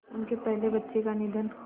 उनके पहले बच्चे का निधन